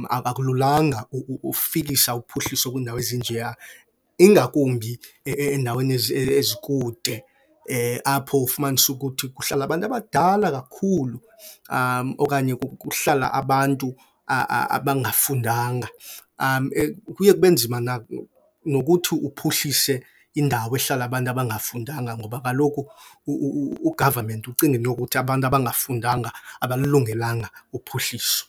akululanga ufikisa uphuhliso kwiindawo ezinjeya. Ingakumbi endaweni ezikude apho ufumanise ukuthi kuhlala abantu abadala kakhulu, okanye kuhlala abantu abangafundanga. Kuye kube nzima nokuthi uphuhlise indawo ehlala abantu abangafundanga ngoba kaloku ugavamenti ucingela intokuthi abantu abangafundanga abalilungelanga uphuhliso.